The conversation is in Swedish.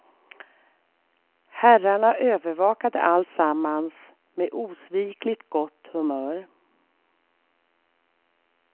Herrarna övervakade alltsammans med osvikligt gott humör.